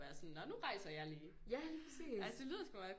Være sådan nå nu rejser jeg lige altså det lyder sgu meget